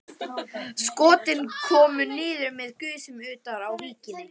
Skotin komu niður með gusum utar á víkinni.